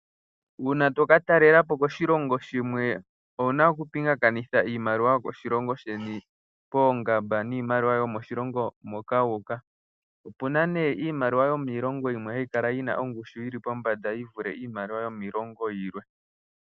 Uuna tokatalela po koshilongo shimwe owu na okupingakanitha iimaliwa yokoshilongo sheni poongamba niimaliwa yomoshilongo moka wuuka. Opu na nee iimaliwa yomiilongo yimwe hayi kala yi na ongushu yili pombanda yi vule iimaliwa yomiilongo yilwe.